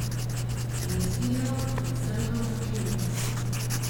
Mislijo, da sem domačinka.